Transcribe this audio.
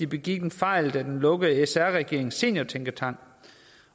begik en fejl da den lukkede sr regeringens seniortænketank